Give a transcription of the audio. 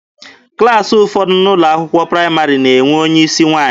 Klassị ụfọdụ n'ụlọ akwụkwọ praịmarị na-enwe onye isi nwaanyị.